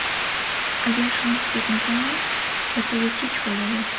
Agar shuni his etmasangiz, ertaga kech bo‘ladi.